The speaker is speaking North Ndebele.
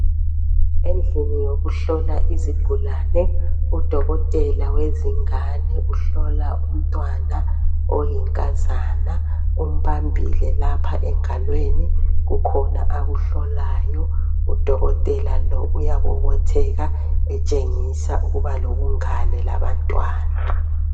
endlini yokuhlola izigulane udokotela wezingane uhlola umntwana oyinkazana umbambile lapha engalweni kukhona akuhlolayo udokotela lo uyabobotheka etshengisa ukuba lobungane labantwana